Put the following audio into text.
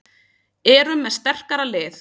Erum með sterkara lið